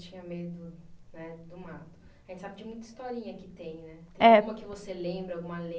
Tinha medo, né, do mato, a gente sabe de muita historinha que tem, né. É. Tem uma que você lembra, alguma